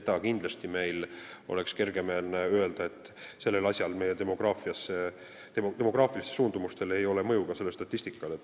Oleks kindlasti kergemeelne öelda, et demograafilistel suundumustel ei ole mõju sellele statistikale.